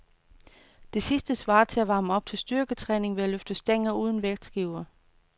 Det sidste svarer til at varme op til styrketræning ved at løfte stænger uden vægtskiver.